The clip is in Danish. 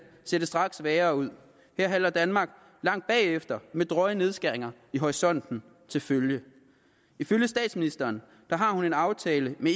ser det straks værre ud her halter danmark langt bagefter med drøje nedskæringer i horisonten til følge ifølge statsministeren har hun en aftale med